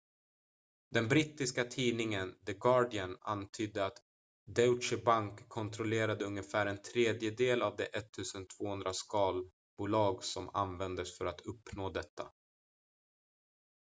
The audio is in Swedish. den brittiska tidningen the guardian antydde att deutsche bank kontrollerade ungefär en tredjedel av de 1200 skalbolag som användes för att uppnå detta